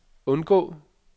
undgå